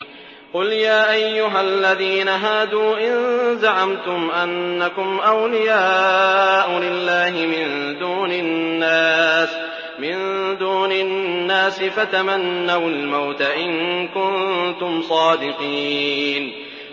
قُلْ يَا أَيُّهَا الَّذِينَ هَادُوا إِن زَعَمْتُمْ أَنَّكُمْ أَوْلِيَاءُ لِلَّهِ مِن دُونِ النَّاسِ فَتَمَنَّوُا الْمَوْتَ إِن كُنتُمْ صَادِقِينَ